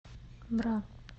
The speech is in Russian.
бра